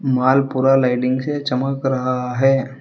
माल पूरा लाइटिंग से चमक रहा है।